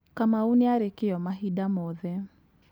Kamau nĩare kĩo mahinda mothe.